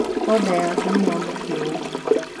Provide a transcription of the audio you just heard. Oda yaku nĩ yamũkĩrĩtwo